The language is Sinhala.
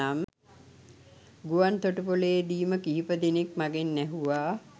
ගුවන්තොටු‍පොළේ දීම කිහිප දෙනෙක් මගෙන් ඇහුවා.